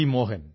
Mohan